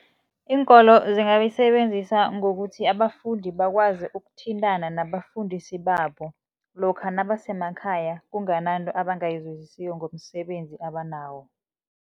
Iinkolo zingayisebenzisa ngokuthi abafundi bakwazi ukuthintana nabafundisi babo lokha nabasemakhaya kungananto abangayizwisisiko ngomsebenzi abanawo.